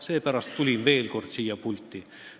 Seepärast tulin veel kord siia pulti.